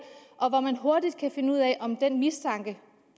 og man vil hurtigt kunne finde ud af om den